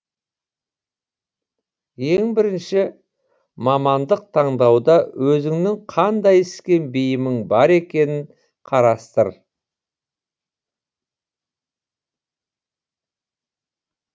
ең бірінші мамандық таңдауда өзіңнің қандай іске бейімің бар екенін қарастыр